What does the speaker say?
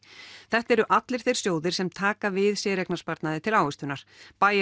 þetta eru allir þeir sjóðir sem taka við séreignarsparnaði til ávöxtunar